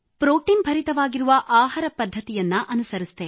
protein ಭರಿತವಾಗಿರುವ ಆಹಾರ ಪದ್ಧತಿ ಅನುಸರಿಸಿದೆ